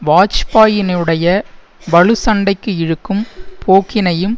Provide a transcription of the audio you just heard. வாஜ்பாயினுடைய வலுச்சண்டைக்கு இழுக்கும் போக்கினையும்